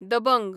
दबंग